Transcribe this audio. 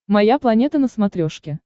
моя планета на смотрешке